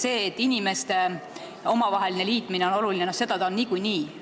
See, et omavaheline liitumine on oluline, on niikuinii selge.